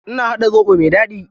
Ina haɗa zoɓo mai daɗi.